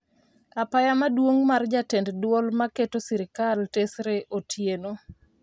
Apaya maduong' mar jatend duol ma keto sirikal tesre, Otieno